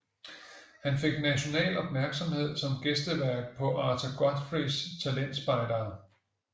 Han fik national opmærksomhed som gæstevært på Arthur Godfreys talentspejdere